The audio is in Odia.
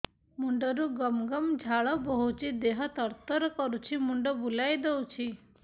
ମୁଣ୍ଡରୁ ଗମ ଗମ ଝାଳ ବହୁଛି ଦିହ ତର ତର କରୁଛି ମୁଣ୍ଡ ବୁଲାଇ ଦେଉଛି